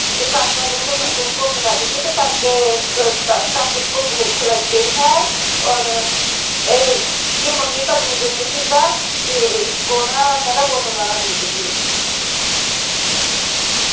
ਤੇ ਕਾਕਾ ਕਹਿੰਦਾ ਕਾਕੇ ਨੂੰ ਭੁੱਖ ਲੱਗ ਗਈ ਤੇ ਕਾਕੇ ਕਾਕੇ ਕੋ ਭੁੱਖ ਲੱਗ ਗਈ ਹੈ ਔਰ ਇਹ ਜੇ ਮੰਮੀ ਕਾ ਦੁੱਧ ਨਹੀਂ ਪੀਂਦਾ ਤੇ ਇਸਕੋ ਨਾ ਕਹਿੰਦਾ ਬੋਤਲ ਵਾਲਾ ਦੁੱਧ ਦੇ ਦੇ